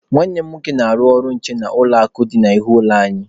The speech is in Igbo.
Nwanne m nwoke na-arụ ọrụ nche n'ụlọ akụ dị n'ihu ụlọ anyị.